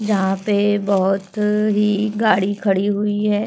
यहां पे बोहोत ही गाड़ी खड़ी हुई हैं।